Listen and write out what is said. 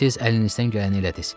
Siz əlinizdən gələni elədiz.